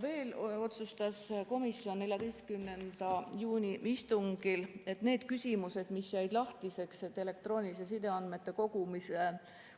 Veel otsustas komisjon 14. juuni istungil, et nende küsimuste juurde, mis jäid lahtiseks – elektrooniliste sideandmete